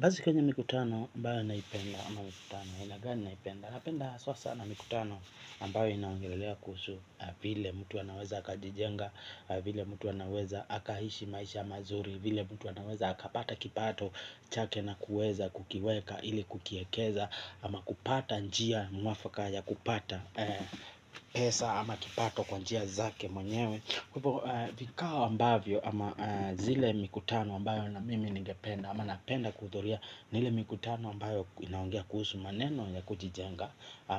Basi kama mikutano ambayo ninaipenda ama mikutano aina gani naipenda napenda haswa sana mikutano ambayo inaongelelea kuhusu vile mtu anaweza akajijenga, vile mtu anaweza akaishi maisha mazuri vile mtu anaweza akapata kipato chake na kuweza kukiweka ili kukiekeza ama kupata njia mwafaka ya kupata pesa ama kipato kwa njia zake mwenyewe hivo vikao ambavyo ama zile mikutano ambayo na mimi ningependa ama napenda kuhudhuria ni ile mikutano ambayo inaongea kuhusu maneno ya kujijenga